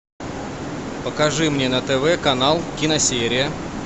покажи мне на тв канал киносерия